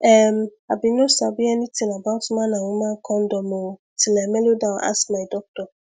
em i bin no sabi anything about man and woman condom o till i melodown ask my doctor